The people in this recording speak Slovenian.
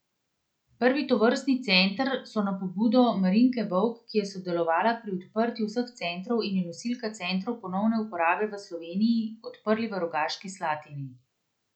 Prvi tovrstni center so na pobudo Marinke Vovk, ki je sodelovala pri odprtju vseh centrov in je nosilka Centrov ponovne uporabe v Sloveniji, odprli v Rogaški Slatini.